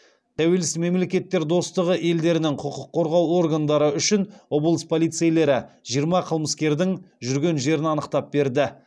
тәуелсіз мемлекеттер достығы елдерінің құқық қорғау органдары үшін облыс полицейлері жиырма қылмыскердің жүрген жерін анықтап берді